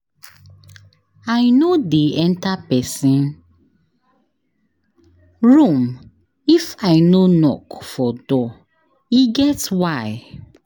I no dey enta pesin room if I no knock for door, e get why.